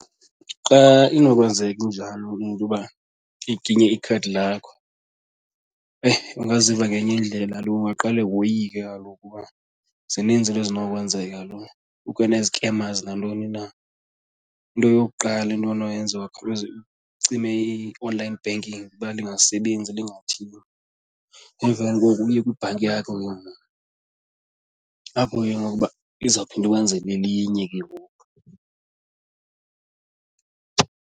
Xa inokwenzeka injalo into yoba iginye ikhadi lakho eyi, ungaziva ngenye indlela kaloku ungaqale woyike kaloku kuba zininzi into ezinokwenzeka kaloku, kukho nezikemazi nantoni na. Into yokuqala into onoyenza ungakhawuleze ucime i-online banking uba lingasebenzi lingathini. Emveni koko uye kwibhanki yakho ke ngoku apho ke ngoku uba izophinda ikwenzele elinye ke ngoku.